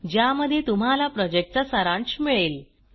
ज्यामध्ये तुम्हाला प्रॉजेक्टचा सारांश मिळेल